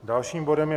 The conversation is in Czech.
Dalším bodem je